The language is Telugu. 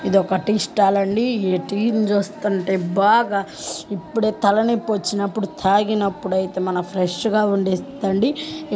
ఇదొక టీ స్టాల్ అండి. టీ ని చూస్తుంటే బాగా ఇప్పుడు తలనొప్పి వచ్చినప్పుడు తాగినప్పుడు అయితే మనం ఫ్రెష్ గా ఉండేటడంది.